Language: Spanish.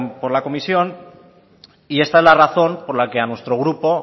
por la comisión y esta es la razón por la que a nuestro grupo